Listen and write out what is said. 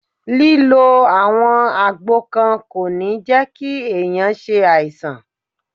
Lílo àwọn àgbo kan kò ní jẹ́ kí ẹ̀yàn ṣe àìsàn.